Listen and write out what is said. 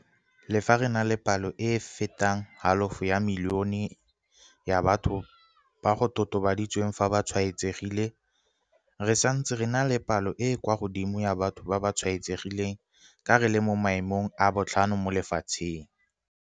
Le fa re na le palo e e fetang halofo ya milione ya batho ba go totobaditsweng fa ba tshwaetsegile, re santse re na le palo e e kwa godimo ya batho ba ba tshwaetsegileng ka re le mo maemong a botlhano mo lefatsheng.